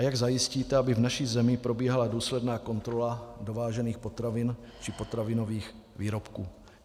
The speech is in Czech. A jak zajistíte, aby v naší zemi probíhala důsledná kontrola dovážených potravin či potravinových výrobků?